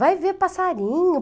Vai ver passarinho.